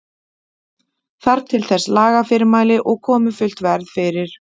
Þarf til þess lagafyrirmæli og komi fullt verð fyrir.